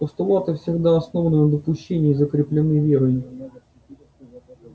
постулаты всегда основаны на допущении и закреплены верой